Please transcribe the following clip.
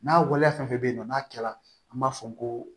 N'a waleya fɛn fɛn bɛ yen nɔ n'a kɛla an b'a fɔ ko